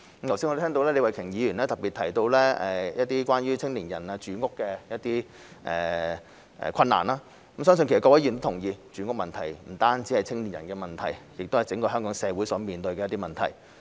我剛才亦聽到李慧琼議員特別提到關於青年的住屋困難，相信各位議員亦同意，住屋問題不單是青年人的問題，更是整個香港社會所面對的問題。